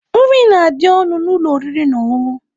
Nri na-adị ọnụ na ụlọ oriri na ọṅụṅụ